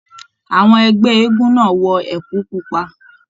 Àwọn ẹgbẹ eégún náà wọ ẹkú pupa.